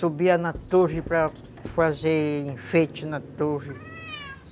Subia na torre para fazer enfeite na torre.